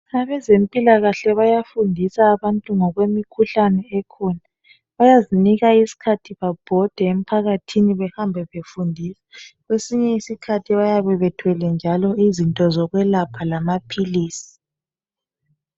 Abezempilakahle bayafundisa abantu ngkwemikhuhlane ekhona. Bayazinika isikhathi bebhode emphakathini befundisa. Kwesinye iskhathi bayabe bethwele njalo izinto zikwelapha kanye lamapilisi.